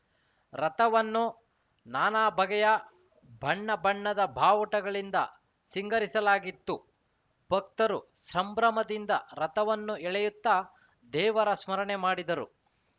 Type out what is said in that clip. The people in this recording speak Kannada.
ರಥವನ್ನು ನಾನಾ ಬಗೆಯ ಬಣ್ಣ ಬಣ್ಣದ ಬಾವುಟಗಳಿಂದ ಸಿಂಗರಿಸಲಾಗಿತ್ತು ಭಕ್ತರು ಸಂಭ್ರಮದಿಂದ ರಥವನ್ನು ಎಳೆಯುತ್ತ ದೇವರ ಸ್ಮರಣೆ ಮಾಡಿದರು